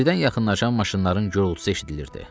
Birdən yaxınlaşan maşınların gürultusu eşidilirdi.